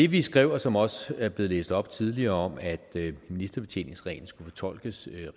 vi skrev og som også er blevet læst op tidligere om at ministerbetjeningsreglen skulle fortolkes